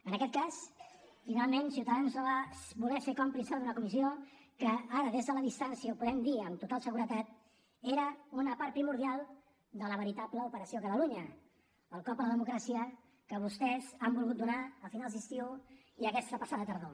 en aquest cas finalment ciutadans no va voler ser còmplice d’una comissió que ara des de la distància ho podem dir amb total seguretat era una part primordial de la veritable operació catalunya el cop a la democràcia que vostès han volgut donar a finals d’estiu i aquesta passada tardor